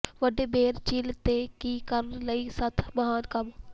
ਵੱਡੇ ਬੇਅਰ ਝੀਲ ਤੇ ਕੀ ਕਰਨ ਲਈ ਸੱਤ ਮਹਾਨ ਕੰਮ